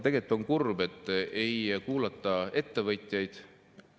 Tegelikult on kurb, et ei kuulata ettevõtjaid.